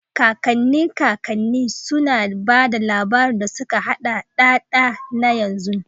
Kakanni kakanni, suna ba da labarun da suka haɗa da da da na yanzu.